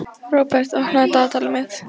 Róbert, opnaðu dagatalið mitt.